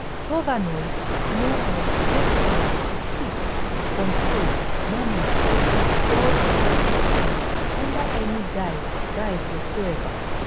governors no um get power to keep control manage or disburse lg funds under any guise guise whatsoever